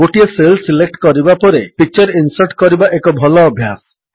ଗୋଟିଏ cell select କରିବା ପରେ ପିକଚର୍ ଇନ୍ସର୍ଟ କରିବା ଏକ ଭଲ ଅଭ୍ୟାସ